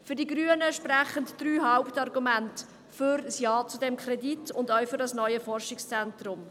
Für die Grünen sprechen drei Hauptargumente für ein Ja zu diesem Kredit und für das neue Forschungszentrum.